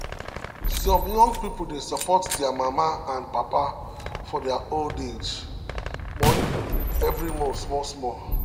some young people dey support their mama and papa for their old age money every month small small.